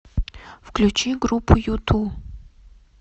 включи группу юту